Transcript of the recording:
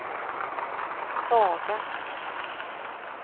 svaga